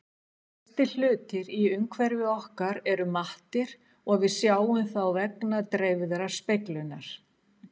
Flestir hlutir í umhverfi okkar eru mattir og við sjáum þá vegna dreifðrar speglunar.